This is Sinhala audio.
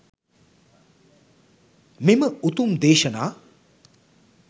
මෙම උතුම් දේශනා